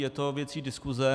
Je to věcí diskuse.